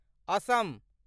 Assam